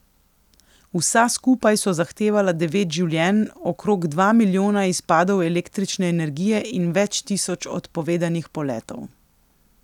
Vsa skupaj so zahtevala devet življenj, okrog dva milijona izpadov električne energije in več tisoč odpovedanih poletov.